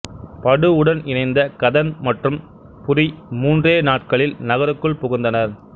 படு உடன் இணைந்த கதன் மற்றும் புரி மூன்றே நாட்களில் நகருக்குள் புகுந்தனர்